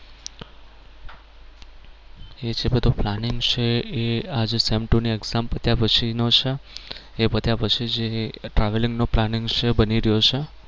એ જે બધો planning છે એ જે આ sem two ની exam પત્યા પછી નો છે એ પત્યા પછી જે travelling નો planning છે એ બની રહ્યો છે.